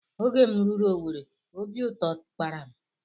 Oge m ruru Owere obi ụtọ kpara m